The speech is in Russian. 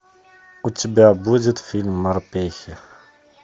у тебя будет фильм морпехи